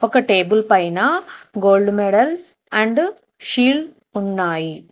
ఒక టేబుల్ పైన gold medals and shield ఉన్నాయి.